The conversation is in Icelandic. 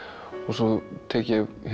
svo tek ég